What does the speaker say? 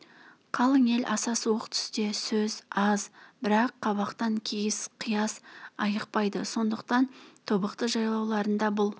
қалың ел аса суық түсте сөз аз бірақ қабақтан кейіс қияс айықпайды сондықтан тобықты жайлауларында бұл